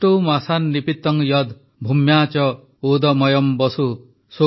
ଅଷ୍ଟୌ ମାସାନ୍ ନିପୀତଂ ୟଦ୍ ଭୂମ୍ୟାଃ ଚ ଓଦମୟମ୍ ବସୁ